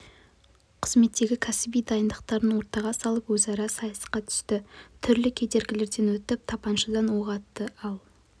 қызметтегі кәсіби дайындықтарын ортаға салып өзара сайысқа түсті түрлі кедергілерден өтіп тапаншадан оқ атты ал